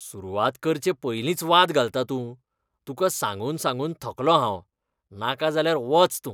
सुरवात करचे पयलींच वाद घालता तूं. तुका सांगून सांगून थकलों हांव. नाका जाल्यार वच तूं.